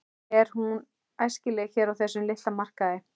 En er hún æskileg hér á þessum litla markaði?